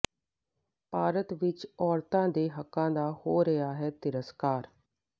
ਭਾਰਤ ਵਿੱਚ ਔਰਤਾਂ ਦੇ ਹੱਕਾਂ ਦਾ ਹੋ ਰਿਹਾ ਹੈ ਤ੍ਰਿਸਕਾਰ